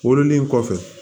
Wololen kɔfɛ